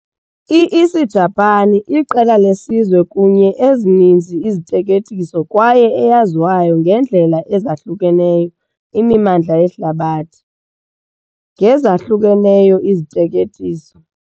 I-Isijapani iqela lesizwe kunye ezininzi nicknames kwaye eyaziwayo ngendlela ezahlukeneyo imimandla yehlabathi ngo ezahlukeneyo nicknames.